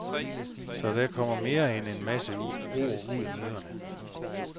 Så der kommer mere end en masse ord ud af møderne.